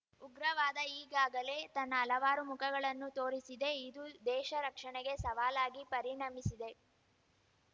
ಉಗ್ರವಾದ ಈಗಾಗಲೇ ತನ್ನ ಹಲವಾರು ಮುಖಗಳನ್ನು ತೋರಿಸಿದೆ ಇದು ದೇಶ ರಕ್ಷಣೆಗೆ ಸವಾಲಾಗಿ ಪರಿಣಮಿಸಿದೆ